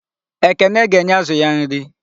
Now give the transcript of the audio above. Ekene ga-enye ázụ̀ ya nri.